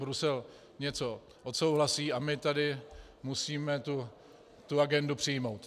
Brusel něco odsouhlasí a my tady musíme tu agendu přijmout.